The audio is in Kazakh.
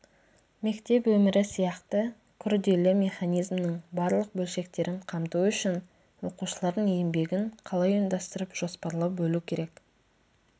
мектеп өмірі сияқты күрделі механизмнің барлық бөлшектерін қамту үшін оқушылардың еңбегін қалай ұйымдастырып жоспарлап бөлу керек